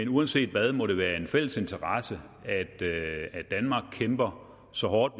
uanset hvad må det være en fælles interesse at danmark kæmper så hårdt